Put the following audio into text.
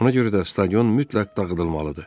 Ona görə də stadion mütləq dağıdılmalıdır.